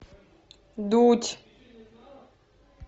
дудь